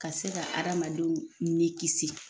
Ka se ka adamadenw ni kisi